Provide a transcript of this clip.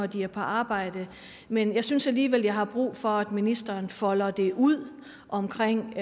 de er på arbejde men jeg synes alligevel jeg har brug for at ministeren folder det ud omkring